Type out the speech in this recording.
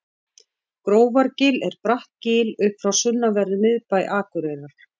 grófargil er bratt gil upp frá sunnanverðum miðbæ akureyrar